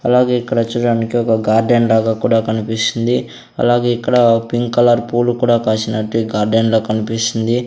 అలాగే ఇక్కడ చూడానికి ఒక గార్డెన్ లాగా కూడా కనిపిస్తుంది అలాగే ఇక్కడ పింక్ కలర్ పూలు కూడా కాసినట్టే ఈ గార్డెన్ లో కన్పిస్తుంది.